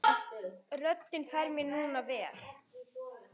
Hún spurði um þig.